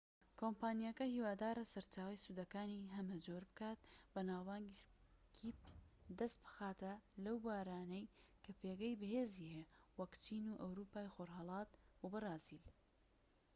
کۆمپانیاکە هیوادارە سەرچاوەی سوودەکانی هەمە جۆر بکات و ناوبانگ دەست بخات لەو بوارانەی کە skype پێگەی بەهێزی هەیە وەک چین ئەوروپای خۆرهەڵات و بەرازیل